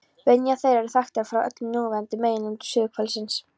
Menjar þeirra eru þekktar frá öllum núverandi meginlöndum suðurhvelsins